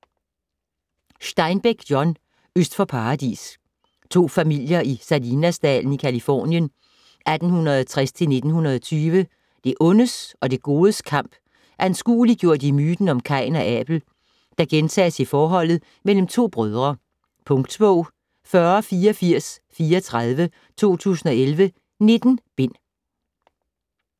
Steinbeck, John: Øst for paradis To familier i Salinasdalen i Californien 1860-1920. Det ondes og det godes kamp anskueliggjort i myten om Kain og Abel, der gentages i forholdet mellem to brødre. Punktbog 408434 2011. 19 bind.